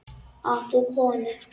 Átt þú konu?